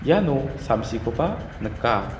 iano samsiko ba nika.